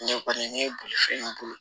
Ne kɔni ne ye bolifɛn boli